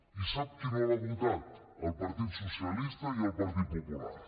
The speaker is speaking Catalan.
i sap qui no l’ha votat el partit socialista i el partit popular